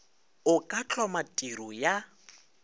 o ka hloma tiro ya